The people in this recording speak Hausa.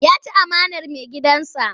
Ya ci amanar maigidansa.